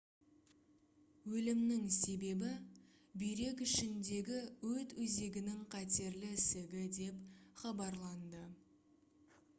өлімнің себебі бүйрек ішіндегі өт өзегінің қатерлі ісігі деп хабарланды